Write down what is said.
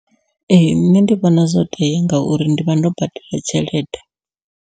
Ee nṋe ndi vhona zwo tea ngauri ndi vha ndo badela tshelede.